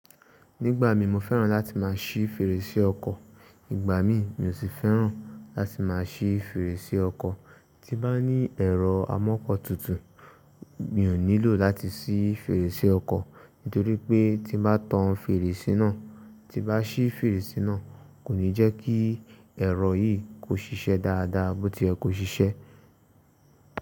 Nígbà mi, mo fẹ́ràn láti má a ṣí fèrèsé ọkọ̀, ìgbà mi mi ò sì fẹ́ràn láti má a ṣí fèrèsé ọkọ̀. Tí bá ní ẹ̀rọ amọ́kọ̀ tuntun, mi ò nílò láti ṣí fèrèsé ọkọ̀, nítorí pé tí bá tan fèrèsé náà, tí bá ṣí fèrèsé náà kò ní jẹ́ kí ẹ̀rọ yìí kó ṣíṣe dáadáa, bó tí yẹ kó ṣiṣẹ́.